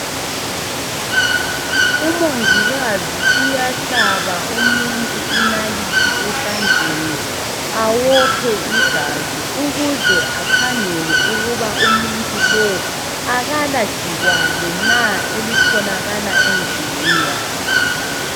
Umongikazi uyahlaba umuntu ngenalithi esandleni awophe igazi ukuze akhangele ukuba umuntu lo akalagcikwana na elithokala emzimbeni wakhe.